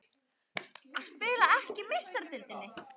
Að spila ekki í Meistaradeildinni?